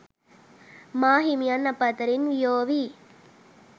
මාහිමියන් අප අතරින් වියෝවී